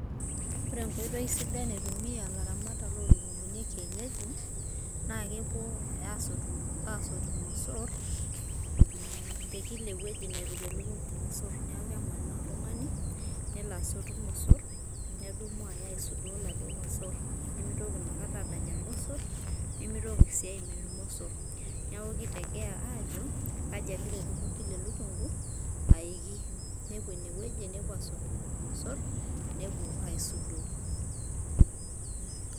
Ore enkoitoi sidai naitumia ilaramatak lolukunguni naa kepuo asotu irmosor te kila ewueji nepik elukungu irmosor, niaku kemanaa oltungani nelo asotu irmosor , nedumu aya aisudoo iladuoo mosor , nemitoki ina kata adanya irmosor ,nimitoki sii ainyiala irmosor, niaku kitegemea kaji egira elukungu ino aiki